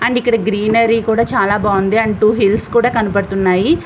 And ఇక్కడ greenery కూడా చాలా బాగుంది అండ్ టూ హిల్స్ కూడా కనిపిస్తున్నాయి.